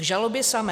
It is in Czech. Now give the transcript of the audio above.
K žalobě samé.